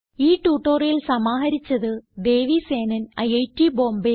ഈ ട്യൂട്ടോറിയൽ സമാഹരിച്ചത് ദേവി സേനൻ ഐറ്റ് ബോംബേ